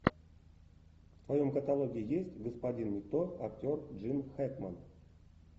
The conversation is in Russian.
в твоем каталоге есть господин никто актер джин хэкмен